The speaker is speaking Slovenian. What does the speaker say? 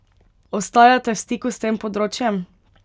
Ostajate v stiku s tem področjem?